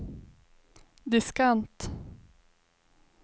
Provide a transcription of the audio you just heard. diskant